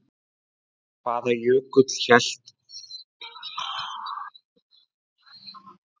Hvaða jökull hét áður Arnarfellsjökull?